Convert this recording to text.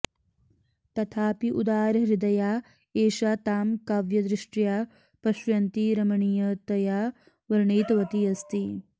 तथापि उदारहृदया एषा तां काव्यदृष्ट्या पश्यन्ती रमणीयतया वर्णितवती अस्ति